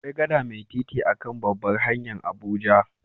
Akwai gada mai titi a'kan ta a'babbar hanya'n Abuja.